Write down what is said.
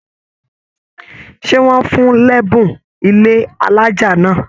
Ṣe wọn fún l'ẹbùn ilé alájá náà?